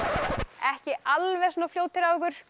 ekki alveg svona fljótir á ykkur